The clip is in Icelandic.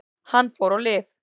Hann fór á lyf.